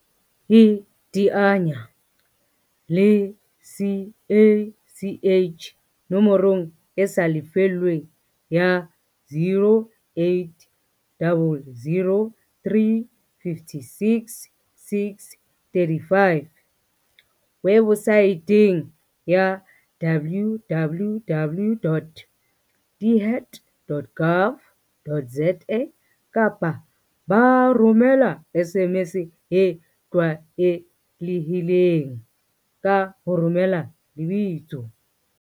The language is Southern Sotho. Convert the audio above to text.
iteanya le CACH nomorong e sa lefellweng ya, 0800 356 635, webosaeteng ya, www.dhet.gov.za, kapa ba romela SMS e tlwaelehileng, ka ho romela lebitso